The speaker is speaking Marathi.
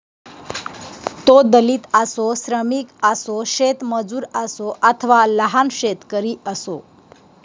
तो दलित असो श्रमिक असो शेतमजूर असो अथवा लहान शेतकरी असो